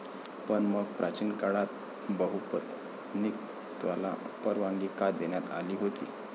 पण मग, प्राचीन काळात बहुपत्नीकत्वाला परवानगी का देण्यात आली होती?